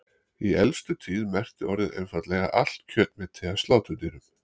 Í elstu tíð merkti orðið einfaldlega allt kjötmeti af sláturdýrum.